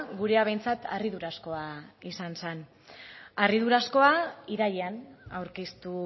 gurea behintzat harridurazkoa izan zen harridurazkoa irailean aurkeztu